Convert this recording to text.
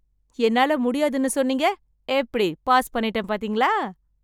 என்னால முடியாதுன்னு சொன்னீங்க. எப்படி பாஸ் பண்ணிட்டேன் பாத்தீங்களா!